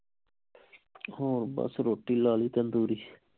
ਹੋਰ ਬਸ ਰੋਟੀ ਲਾ ਲਈ ਤੰਦੂਰੀ